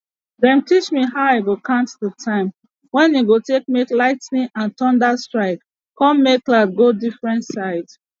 dem teach me how i go count the time wey e go take make lightning and thunder strike con make cloud go different side